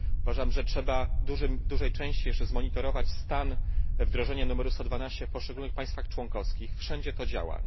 Uważam, że trzeba jeszcze w dużej części zbadać stan wdrożenia numeru 112 w poszczególnych państwach członkowskich, wszędzie to działa.